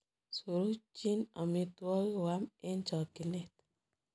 Surukchi amitwogik koam eng chakchinet.